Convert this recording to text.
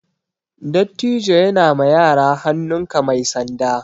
Dattijo ya na ma yara hannun ka mai sanda